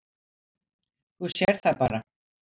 Þú sérð það bara.